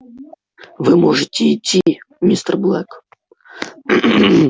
вы можете идти мистер блэк